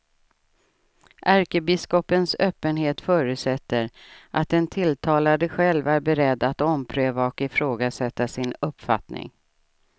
Ärkebiskopens öppenhet förutsätter att den tilltalade själv är beredd att ompröva och ifrågasätta sin uppfattning.